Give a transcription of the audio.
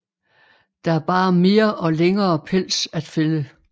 Der er bare mere og længere pels at fælde